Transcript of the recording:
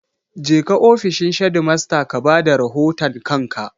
Jeka ofishin shedimasta ka ba da rahoton kanka!